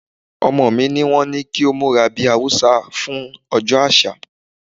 Ọmọkùnrin mi ní wón ní kó múra bí Haúsá fún ọjọ́ àṣà.